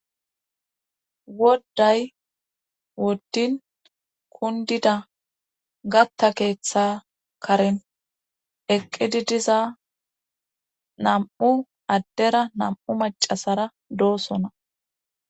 wodday woddin kundida gatta keeththa karen eqqidi diza nam7u addera nam7u macasara doosona